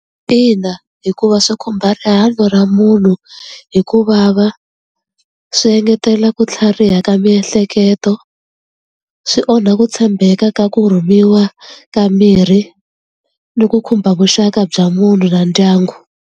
Ina, hikuva swi khumba rihanyo ra munhu hikuvava swi engetela ku tlhariha ka miehleketo swi onha ku tshembeka ka ku rhumiwa ka mirhi ni ku khumba vuxaka bya munhu na ndyangu.